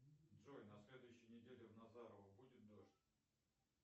джой на следующей неделе в назарово будет дождь